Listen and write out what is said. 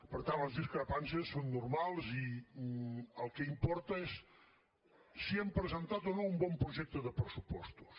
per tant les discrepàncies són normals i el que importa és si hem presentat o no un bon projecte de pressupostos